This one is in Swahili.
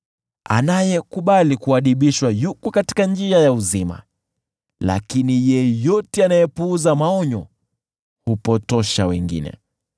Anayekubali kuadibishwa yuko katika njia ya uzima, lakini yeyote anayepuuza maonyo hupotosha wengine.